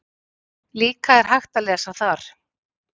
Líka er hægt að lesa þar